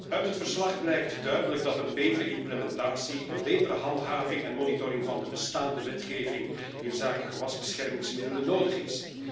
Uit het verslag blijkt duidelijk dat een betere implementatie, een betere handhaving en monitoring van de bestaande wetgeving inzake gewasbeschermingsmiddelen nodig is.